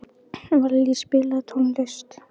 Vallý, spilaðu tónlist.